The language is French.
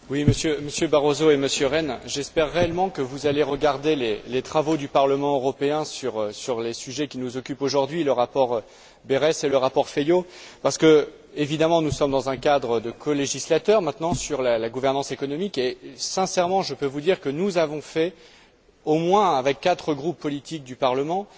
Monsieur le Président, Monsieur Barroso et Monsieur Rehn, j'espère réellement que vous allez regarder les travaux du Parlement européen sur les sujets qui nous occupent aujourd'hui, le rapport Berès et le rapport Feio, parce que, évidemment, nous sommes maintenant dans un cadre de colégislateur sur la gouvernance économique et sincèrement, je peux vous dire que nous avons fait, au moins avec quatre groupes politiques du Parlement,